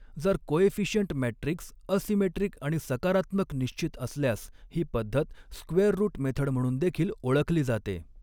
जर coefficient matrix asymmetric आणि सकारात्मक निश्चित असल्यास ही पद्धत स्क्वेअर रूट मेथड म्हणून देखील ओळखली जाते.